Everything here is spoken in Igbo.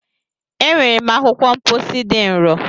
E nwere m akwụkwọ mkpọsi dị nro.